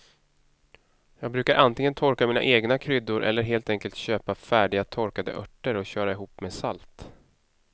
Jag brukar antingen torka mina egna kryddor eller helt enkelt köpa färdiga torkade örter och köra ihop med salt.